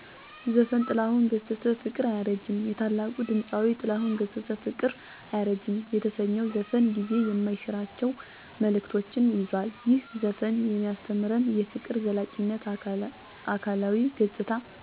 ዘፈን - ጥላሁን ገሠሠ - 'ፍቅር አያረጅም' የታላቁ ድምፃዊ ጥላሁን ገሠሠ “ፍቅር አያረጅም” የተሰኘው ዘፈን ጊዜ የማይሽራቸው መልዕክቶችን ይዟል። ይህ ዘፈን የሚያስተምረን -* የፍቅር ዘላቂነት: አካላዊ ገጽታ፣ ቁሳዊ ሃብት ወይም ጊዜ ቢቀያየርም፣ እውነተኛ ፍቅር ግን ዘላቂ መሆኑን ነው። ፍቅር ጊዜን ተሻግሮ የሚዘልቅ የማይደበዝዝ ሃይል ነው። * ከገጽታ በላይ መመልከት: ለሰዎች የምንሰጠው ግምት በውጫዊ ውበታቸው ሳይሆን፣ በውስጣዊ ማንነታቸው መሆን እንዳለበት። * ከራስ ወዳድነት የፀዳ ፍቅር: እውነተኛ ፍቅር መስጠት ላይ እንጂ መቀበል ላይ ብቻ ያላተኮረ መሆኑን።